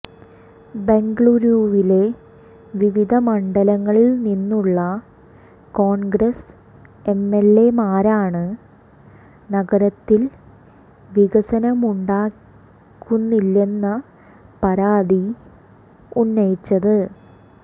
ബെംഗളൂരുവിലെ വിവിധ മണ്ഡലങ്ങളിൽ നിന്നുള്ള കോൺഗ്രസ് എംഎൽഎമാരാണ് നഗരത്തിൽ വികസനമുണ്ടാകുന്നില്ലെന്ന പരാതി ഉന്നയിച്ചത്